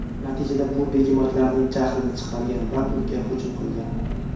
Natijada bu begemotlarning jahlini chiqargan va unga hujum qilgan.